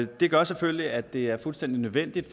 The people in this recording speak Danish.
det gør selvfølgelig at det er fuldstændig nødvendigt